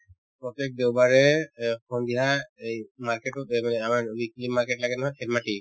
প্ৰত্যেক দেওবাৰে এ অ সন্ধিয়া এই market তত এই মানে আমাৰ weekly market লাগে নহয়